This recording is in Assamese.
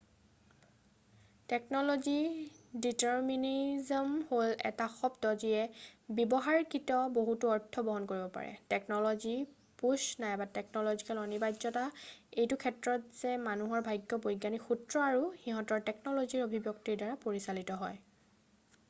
টেকনলজি দিতাৰমিনিজম হ'ল এটা শব্দ যিয়ে ব্যৱহাৰিকত বহুতো অৰ্থ বহন কৰিব পাৰে টেকনলজি পুছ নাইবা টেকনলজিকেল অনিবাৰ্যতা এইটো ক্ষেত্ৰত যে মানুহৰ ভাগ্য বৈজ্ঞানিক সূত্ৰ আৰু সিহঁতৰ টেকলনজিৰ অভিব্যক্তিৰ দ্বাৰা পৰিচালিত হয়